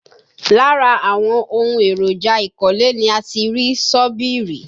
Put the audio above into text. Lára àwọn ohun èròjà ìkọ́lé ni a ti rí ṣọ́bìrì